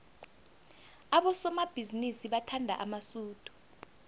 abosomabhizinisi bathanda amasudu